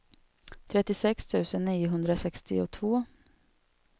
trettiosex tusen niohundrasextiotvå